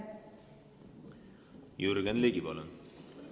Jürgen Ligi, palun!